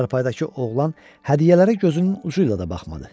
Çarpayıdakı oğlan hədiyyələrə gözünün ucu ilə də baxmadı.